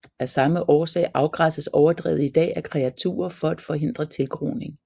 Af samme årsag afgræsses overdrevet i dag af kreaturer for at forhindre tilgroning